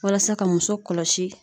Walasa ka muso kɔlɔsi.